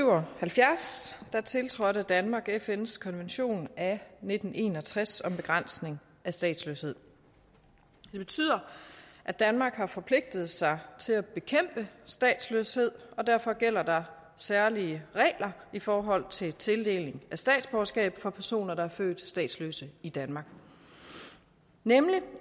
og halvfjerds tiltrådte danmark fns konvention af nitten en og tres om begrænsning af statsløshed det betyder at danmark har forpligtet sig til at bekæmpe statsløshed og derfor gælder der særlige regler i forhold til tildeling af statsborgerskab for personer der er født statsløse i danmark nemlig